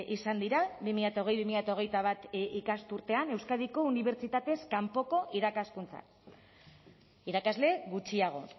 izan dira bi mila hogei bi mila hogeita bat ikasturtean euskadiko unibertsitatez kanpoko irakaskuntzan irakasle gutxiago